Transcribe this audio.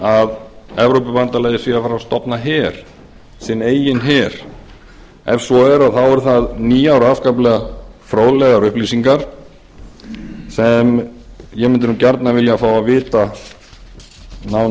að evrópubandalagið sé að fara að stofna her sinn eigin her ef svo er þá eru það nýjar og afskaplega fróðlegar upplýsingar sem ég mundi gjarnan vilja fá að vita nánar um alltaf má vera